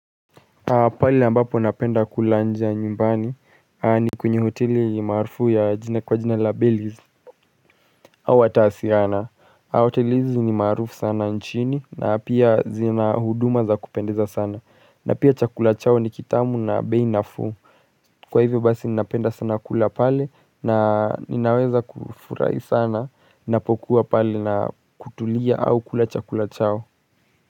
Pale ambapo napenda kula nje ya nyumbani ni kwenye hoteli maarufu ya jina kwa jina la bellies au atasiana hoteli hizi zenye maarufu sana nchini na pia zina huduma za kupendeza sana na pia chakula chao ni kitamu na bei nafuu kwa hivyo basi ninapenda sana kula pale na ninaweza kufurahi sana napokuwa pale na kutulia au kula chakula chao.